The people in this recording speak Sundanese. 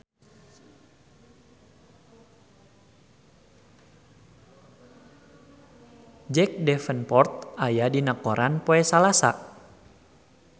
Jack Davenport aya dina koran poe Salasa